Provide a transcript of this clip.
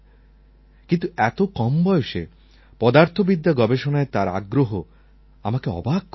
কিন্তু এত কম বয়সে পদার্থবিদ্যা গবেষণায় তার আগ্রহ আমাকে অবাক করেছে